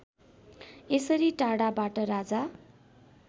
यसरी टाढाबाट राजा